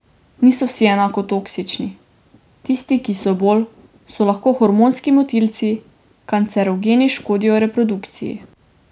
Niso vsi enako toksični, tisti, ki so bolj, so lahko hormonski motilci, kancerogeni, škodijo reprodukciji.